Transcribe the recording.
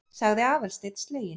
sagði Aðalsteinn sleginn.